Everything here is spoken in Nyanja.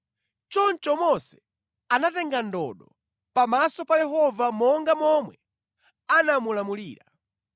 Choncho Mose anatenga ndodo pamaso pa Yehova monga momwe anamulamulira.